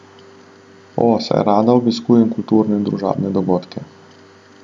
O, saj rada obiskujem kulturne in družabne dogodke.